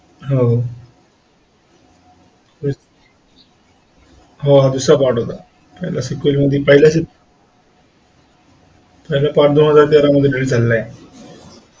अह हा दूसरा part पहिला sequel मध्ये पहीला पहीला part दोन हजार तेरा मध्य release झालेला आहे